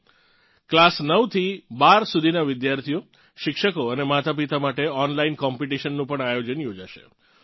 તેનાં માટે ક્લાસ 9 થી 12 સુધીનાં વિદ્યાર્થીઓ શિક્ષકો અને માતાપિતા માટે ઓનલાઇન કોમ્પિટિશનનું પણ આયોજન યોજાશે